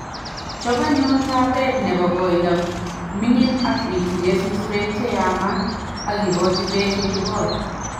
chop anyun taabeet ne bo koindo ming'in, ak ituge susweek che yaamaat, ak igoochi peek ye kigool.